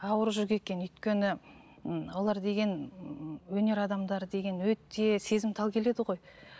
ауыр жүк екен өйткені ммм олар деген ііі өнер адамдары деген өте сезімтал келеді ғой